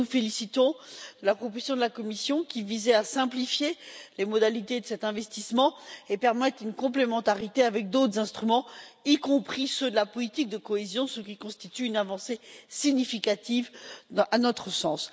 Nous nous félicitons de la proposition de la Commission, qui visait à simplifier les modalités de cet investissement et à permettre une complémentarité avec d'autres instruments, y compris ceux de la politique de cohésion, ce qui constitue une avancée significative à notre sens.